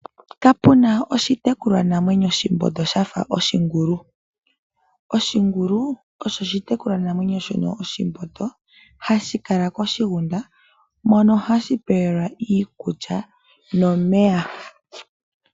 Kapuna oshitekulwa namwenyo oshimbondo shafa oshingulu. Oshingulu osho oshitekulwa namwenyo shononoshimbondo hashi kala koshigunda. Mono hashi pewelwa iikulya nomeya.